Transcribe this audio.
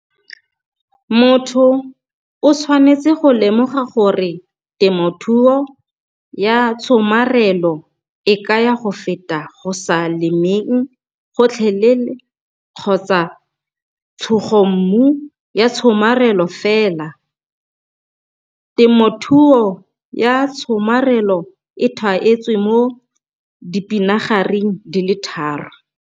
Motho o tshwanetse go lemoga gore temothuo ya tshomarelo e kaya go feta go sa lemeng gotlhelele kgotsa tshugommu ya tshomarelo fela. Temothuo ya Tshomarelo e thaetswe mo dipinagareng di le tharo.